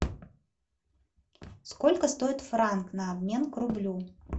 сколько стоит франк на обмен к рублю